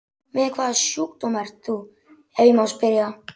Með hvaða sjúkdóm ert þú, ef ég má spyrja?